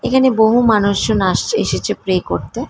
এখানে বহু মানুষ জন আসছে এসেছে প্রে করতে।